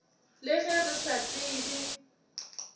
le ge re sa tsebe